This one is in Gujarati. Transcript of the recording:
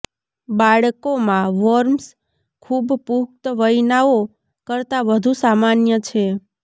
બાળકોમાં વોર્મ્સ ખૂબ પુખ્ત વયનાઓ કરતા વધુ સામાન્ય છે